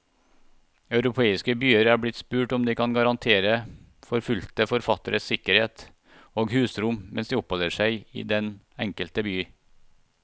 Europeiske byer er blitt spurt om de kan garantere forfulgte forfattere sikkerhet og husrom mens de oppholder seg i den enkelte by.